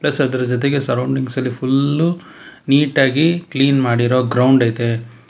ಅದರ ಜೊತೆಗೆ ಸರೌಂಡಿಂಗ್ಸಲ್ಲಿ ಫುಲ್ಲು ನೀಟಾಗಿ ಕ್ಲೀನ್ ಮಾಡಿರೊ ಗ್ರೌಂಡ್ ಐತೆ.